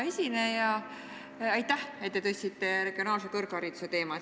Hea esineja, aitäh, et te tõstatasite regionaalse kõrghariduse teema!